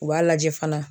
U b'a lajɛ fana